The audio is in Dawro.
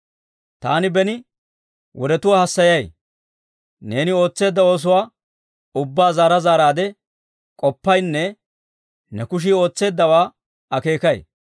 Taani beni wodetuwaa hassayay; neeni ootseedda oosuwaa ubbaa zaara zaaraadde k'oppaynne ne kushii ootseeddawaa akeekay.